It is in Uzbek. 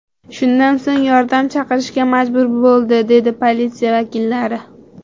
Shundan so‘ng yordam chaqirishga majbur bo‘ldi”, dedi politsiya vakillari.